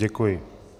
Děkuji.